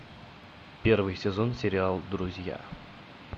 первый сезон сериал друзья